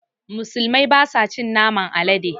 Musulmai basa cin naman alade